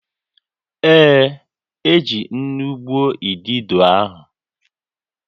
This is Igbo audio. Ee, o ji nnu gbuo idido ahụ